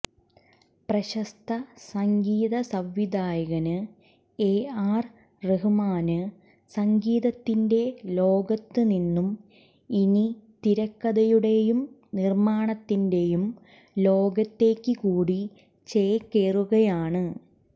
പ്രശസ്ത സംഗീത സംവിധായകന് എ ആര് റഹ്മാന് സംഗീതത്തിന്റെ ലോകത്ത് നിന്നും ഇനി തിരക്കഥയുടേയും നിര്മ്മാണത്തിന്റേയും ലോകത്തേയ്ക്കു കൂടി ചേക്കേറുകയാണ്